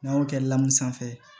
N'an y'o kɛ lamu sanfɛ